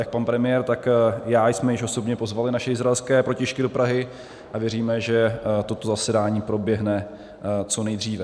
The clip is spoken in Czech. Jak pan premiér, tak já jsme již osobně pozvali naše izraelské protějšky do Prahy a věříme, že toto zasedání proběhne co nejdříve.